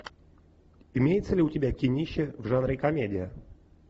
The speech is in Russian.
имеется ли у тебя кинище в жанре комедия